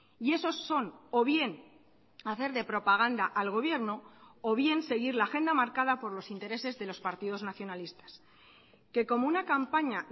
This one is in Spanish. y esos son o bien hacer de propaganda al gobierno o bien seguir la agenda marcada por los intereses de los partidos nacionalistas que como una campaña